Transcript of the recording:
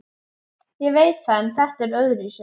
Ég veit það en þetta var öðruvísi.